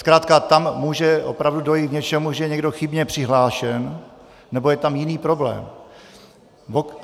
Zkrátka tam může opravdu dojít k tomu, že je někdo chybně přihlášen, nebo je tam jiný problém.